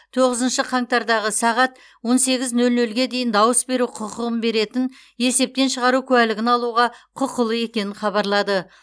тоғызыншы қаңтардағы сағат он сегіз нөл нөлге дейін дауыс беру құқығын беретін есептен шығару куәлігін алуға құқылы екенін хабарлады